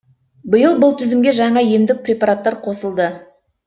биыл бұл тізімге жаңа емдік препараттар қосылды